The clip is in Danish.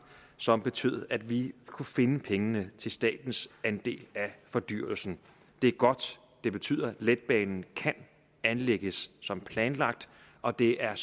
som betød at vi kunne finde pengene til statens andel af fordyrelsen det er godt det betyder at letbanen kan anlægges som planlagt og det er